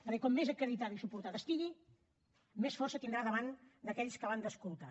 perquè com més acreditada estigui i més suport tingui més força tindrà davant d’aquells que l’han d’escoltar